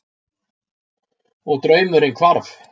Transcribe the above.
Og draumurinn hvarf.